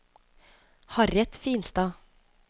Harriet Finstad